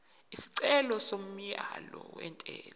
isicelo somyalo wentela